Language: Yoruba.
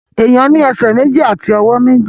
Èèyàn ní ẹsẹ̀ méjì àti ọwọ́ méjì